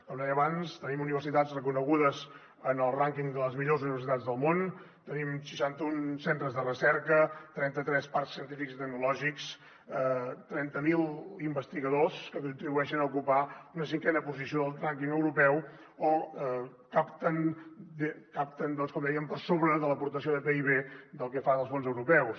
com deia abans tenim universitats reconegudes en el rànquing de les millors universitats del món tenim seixanta un centres de recerca trenta tres parcs científics i tecnològics trenta mil investigadors que contribueixen a ocupar una cinquena posició del rànquing europeu o capten doncs com deia per sobre de l’aportació del pib del que fan els fons europeus